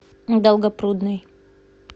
долгопрудный